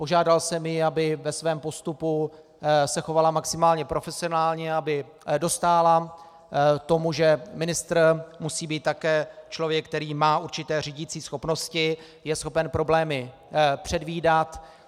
Požádal jsem ji, aby ve svém postupu se chovala maximálně profesionálně, aby dostála tomu, že ministr musí být také člověk, který má určité řídicí schopnosti, je schopen problémy předvídat.